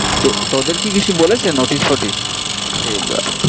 তোদের কি কিছু বলেছে notice ফটিশ যে